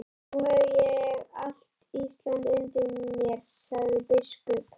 Nú hef ég allt Ísland undir mér, sagði biskup.